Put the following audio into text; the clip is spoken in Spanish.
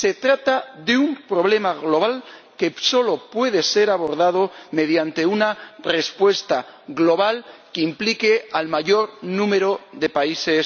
Se trata de un problema global que solo puede ser abordado mediante una respuesta global que implique al mayor número posible de países.